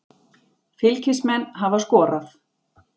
Fylkismenn hafa skorað.